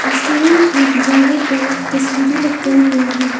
Restaurant की दीवारों पर तस्वीरे लटकाई गई है।